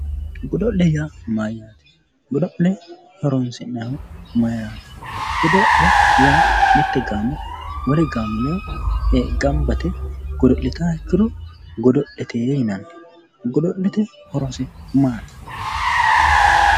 Godo'le:-Godo'le yaa mayaate godo'le horoonsi'nannihu mayiiraati godo'le yaa mitte gaamo wole gaamo ledo ganba yite godo'litaaha ikiro godo'letee yinanni godo'lete horose maati